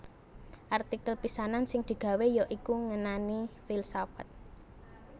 Artikel pisanan sing digawé ya iku ngenani filsafat